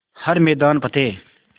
हर मैदान फ़तेह